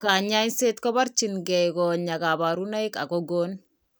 Kanyaiset kobarchin kee konyaa kabarunaik ak ko gon